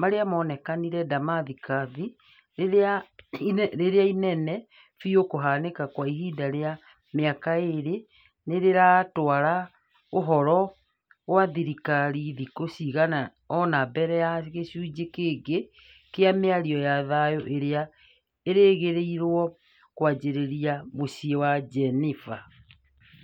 marĩa monekanire Damascus , rĩrĩa inene biu kũhanĩka kwa ihinda rĩa mĩaka ĩrĩ , nĩrĩratwara ũhoro gwĩ thirikari thikũ cigana ona mbere ya gĩcunjĩ kĩngi kĩa mĩario ya thayũ ĩrĩa ĩrĩgĩrĩirwo kwanjĩrĩria mũciĩ-inĩ wa Geneva